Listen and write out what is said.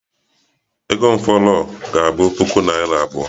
Ego m fọrọ ga-abụ puku naira abụọ